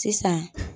Sisan